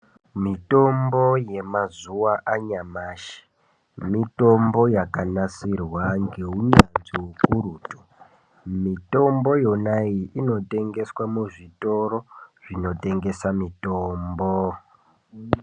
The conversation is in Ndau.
Mitombo yemazuva anyamashi mitombo yakanasirwa ngeunyanzvi hukurutu. Mitombo yonayi inotengeswa muzvitoro zvinotengesa mitombo.